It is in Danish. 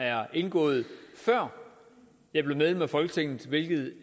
er indgået før jeg blev medlem af folketinget hvilket